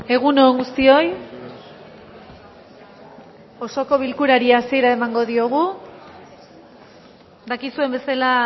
egun on guztioi osoko bilkurari hasiera emango diogu dakizuen bezala